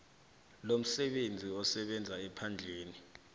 lomsebenzi usebenza ephandleni